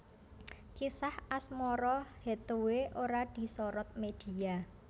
Kisah asmara Hathaway ora disorot media